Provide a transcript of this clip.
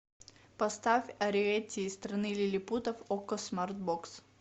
поставь ариэтти из страны лилипутов окко смарт бокс